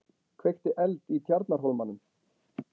Kveikti eld í Tjarnarhólmanum